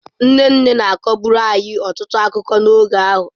Nne nne na-akọburu anyị ọtụtụ akụkọ n'oge ahụ.